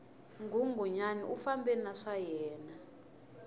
nghunghunyani u fambe na swayena